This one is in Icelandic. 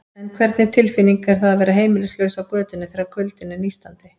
En hvernig tilfinning er það að vera heimilislaus á götunni, þegar kuldinn er nístandi?